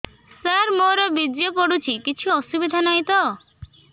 ସାର ମୋର ବୀର୍ଯ୍ୟ ପଡୁଛି କିଛି ଅସୁବିଧା ନାହିଁ ତ